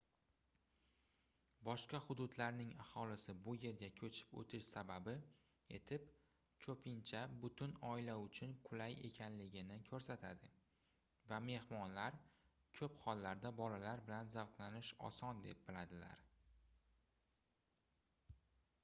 boshqa hududlarning aholisi bu yerga koʻchib oʻtish sababi etib koʻpincha butun oila uchun qulay ekanligini koʻrsatadi va mehmonlar koʻp hollarda bolalar bilan zavqlanish oson deb biladilar